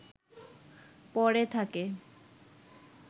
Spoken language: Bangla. পড়ে থাকে